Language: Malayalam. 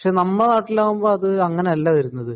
പക്ഷെ നമ്മളെ നാട്ടിൽ ആവുമ്പോൾ അത് അങ്ങനെയെല്ലാ വരുന്നത്